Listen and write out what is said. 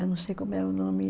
Eu não sei como é o nome.